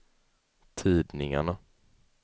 tidningarna